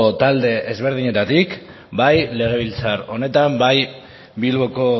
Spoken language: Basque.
talde ezberdinetatik bai legebiltzar honetan bai bilboko